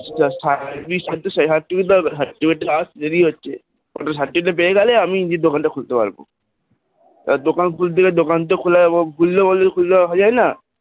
যা Service করতে তো certificate দরকার, certificate টা আসতে তো দেরি হচ্ছে, certificate টা পেয়ে গেলে আমি নিজের দোকানটা খুলতে পারব, এবার দোকান খুলতে গেলে দোকান তো খুলবে বললে তো আর খুলে রাখা যায় না,